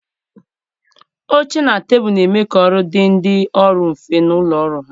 Oche na tebụlụ na-eme ka ọrụ dị ndị ọrụ mfe na ụlọ ọrụ ha